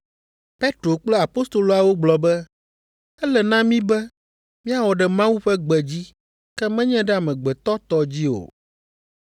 Petro kple apostoloawo gblɔ be, “Ele na mí be míawɔ ɖe Mawu ƒe gbe dzi ke menye ɖe amegbetɔ tɔ dzi o.